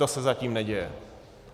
To se zatím neděje.